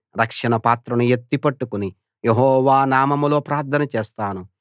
రక్షణపాత్రను ఎత్తి పట్టుకుని యెహోవా నామంలో ప్రార్థన చేస్తాను